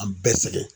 An bɛɛ sɛgɛn